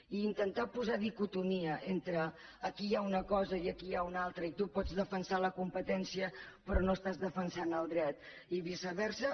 i intentar posar dicotomia entre aquí hi ha una cosa i aquí n’hi ha una altra i tu pots defensar la competència però no estàs defensant el dret i viceversa